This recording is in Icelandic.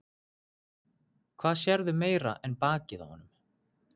Hvað sérðu meira en bakið á honum?